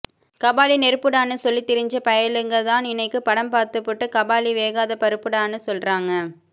கபாலி நெருப்புடான்னு சொல்லி திரிஞ்ச பயளுக தான் இன்னிக்கு படம் பாத்துப்புட்டு கபாலி வேகாத பருப்புடானு சொல்றான்க